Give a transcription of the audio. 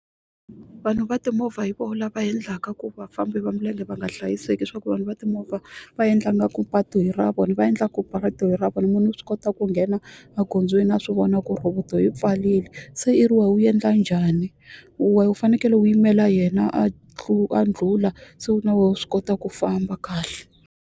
Vanhu va timovha hi voho lava endlaka ku vafambi va milenge va nga hlayiseki leswaku vanhu va timovha va endla ingaku patu i ra vona va endla ku patu i ra vona munhu u swi kota ku nghena magondzweni a swivona ku roboto yi pfarile se i ri wehe u endla njhani wehe u fanekele u yimela yena a a ndlhula se na wa swi kota ku famba kahle.